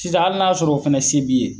Sisan hali na y'a sɔrɔ o fɛnɛ se b'i ye.